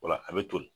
O la a bɛ toli